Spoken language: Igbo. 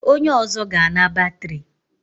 Onye ọzọ ga-ana batrị.